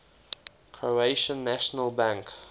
croatian national bank